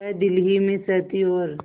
वह दिल ही में सहती और